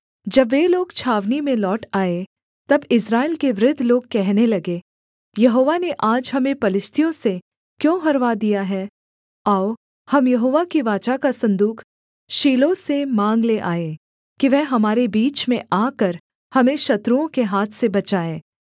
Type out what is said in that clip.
जब वे लोग छावनी में लौट आए तब इस्राएल के वृद्ध लोग कहने लगे यहोवा ने आज हमें पलिश्तियों से क्यों हरवा दिया है आओ हम यहोवा की वाचा का सन्दूक शीलो से माँग ले आएँ कि वह हमारे बीच में आकर हमें शत्रुओं के हाथ से बचाए